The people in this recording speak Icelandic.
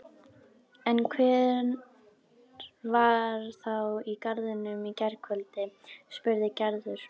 En hver var þá í garðinum í gærkvöldi? spurði Gerður.